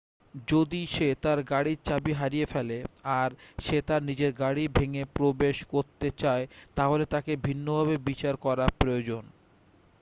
যদি সে তার গাড়িব চাবি হারিয়ে ফেলে আর সে তার নিজের গাড়ি ভেঙে প্রবেশ করতে চায় তাহলে তাকে ভিন্নভাবে বিচার করা প্রয়োজন